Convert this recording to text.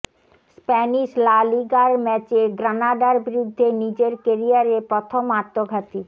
Spanish লা লিগার ম্যাচে গ্রানাডার বিরুদ্ধে নিজের কেরিয়ারে প্রথম আত্মঘাতী